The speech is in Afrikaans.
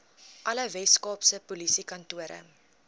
alle weskaapse polisiekantore